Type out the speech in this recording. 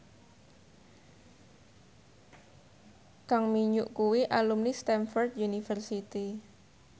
Kang Min Hyuk kuwi alumni Stamford University